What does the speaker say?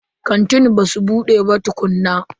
Kantin basu bude ba tukunna.